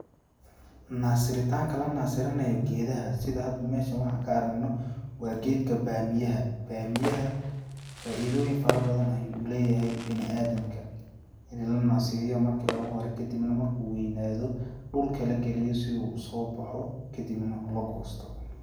Nasiritanka la nasirinayo geedaha, sida hada meeshan waxa ka aragno wa geedka bamiyaha, bamiyaha faaidooyin farabadan ayuu uleeyahay biniaadamka, in lanasiriyo marka ugu hore kadibna marku weynaado dhulka lagaliyo si uu usoo baxo kadibna lagoosto.